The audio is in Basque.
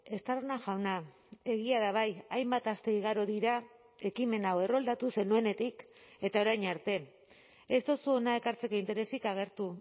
estarrona jauna egia da bai hainbat aste igaro dira ekimen hau erroldatu zenuenetik eta orain arte ez duzu hona ekartzeko interesik agertu